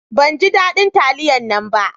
Ban ji dadin taliyan nan ba